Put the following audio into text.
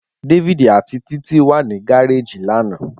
David ati Titi wa ni gareji lana.